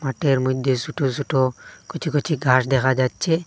মাটের মইদ্যে সোটো সোটো কচি কচি ঘাস দেখা যাচ্চে।